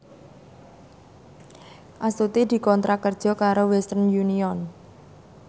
Astuti dikontrak kerja karo Western Union